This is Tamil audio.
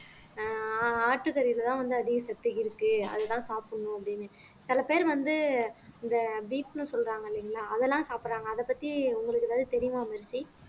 அஹ் ஆட்டுக்கறியிலதான் வந்து அதிக சத்து இருக்கு அதுதான் சாப்பிடணும் அப்படின்னு சில பேர் வந்து இந்த beef ன்னு சொல்றாங்க இல்லைங்களா அதெல்லாம் சாப்பிடறாங்க அதப் பத்தி உங்களுக்கு எதாவது தெரியுமா மெர்சி